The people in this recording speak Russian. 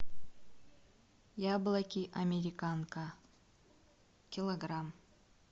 яблоки американка килограмм